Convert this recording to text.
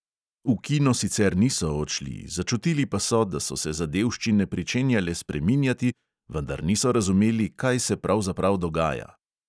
V kino sicer niso odšli, začutili pa so, da so se zadevščine pričenjale spreminjati, vendar niso razumeli, kaj se pravzaprav dogaja.